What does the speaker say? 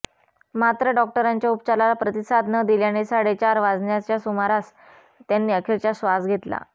मात्र डॉक्टरांच्या उपचाराला प्रतिसाद न दिल्याने साडेचार वाजण्याच्या सुमारास त्यांनी अखेरचा श्वास घेतला